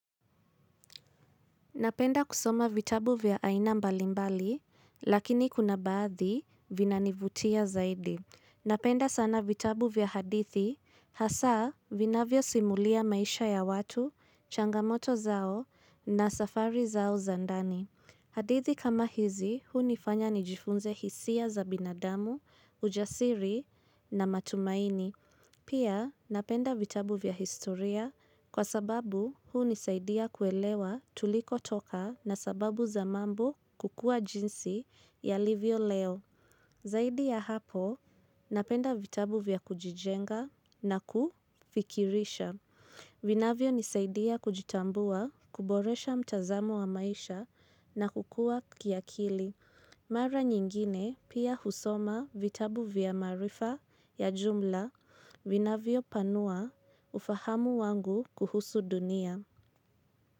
Napenda kusoma vitabu vya aina mbalimbali, lakini kuna baadhi vinanivutia zaidi. Napenda sana vitabu vya hadithi, hasa vinavyo simulia maisha ya watu, changamoto zao na safari zao za ndani. Hadithi kama hizi, huu nifanya nijifunze hisia za binadamu, ujasiri na matumaini. Pia napenda vitabu vya historia kwa sababu huu nisaidia kuelewa tuliko toka na sababu za mambo kukua jinsi yalivyo leo. Zaidi ya hapo napenda vitabu vya kujijenga na kufikirisha. Vinavyo nisaidia kujitambua kuboresha mtazamo wa maisha na kukua kiakili. Mara nyingine pia husoma vitabu vya marifa ya jumla vinavyo panua ufahamu wangu kuhusu dunia.